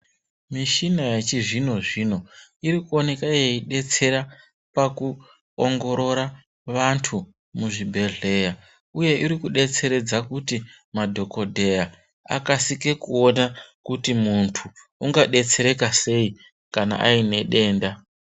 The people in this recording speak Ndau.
Mishina yechizvino zvino iri kuoneka yeidetsera pakuongorora vantu muzvibhedhlera uye iri kudetseredza kuti madhokodheya akasike kuona kuti muntu ungadetsereka sei kana aine denda.